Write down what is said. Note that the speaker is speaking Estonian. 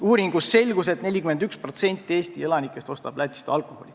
Uuringust selgus, et 41% Eesti elanikest ostab Lätist alkoholi.